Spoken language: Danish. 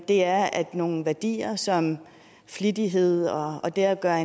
er at nogle værdier som flittighed og og det at gøre